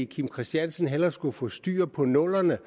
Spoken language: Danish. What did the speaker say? kim christiansen hellere skulle få styr på nullerne